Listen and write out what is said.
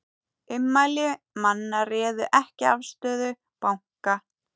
Ummæli manna réðu ekki afstöðu banka